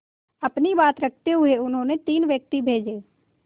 अपनी बात रखते हुए उन्होंने तीन व्यक्ति भेजे